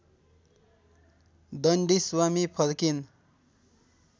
दण्डी स्वामी फर्किन